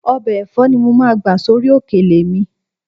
Ọbẹ̀ ẹ̀fọ́ ni mo máa gbà sórí òkèlè mi